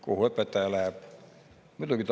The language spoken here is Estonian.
Kuhu õpetaja läheb?